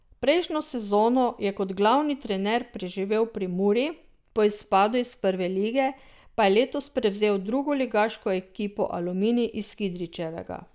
Prejšnjo sezono je kot glavni trener preživel pri Muri, po izpadu iz prve lige pa je letos prevzel drugoligaško ekipo Aluminij iz Kidričevega.